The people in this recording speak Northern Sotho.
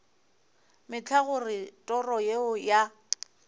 mehla gore toro yeo ya